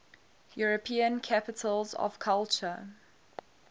european capitals of culture